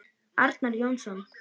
Arnar Jónsson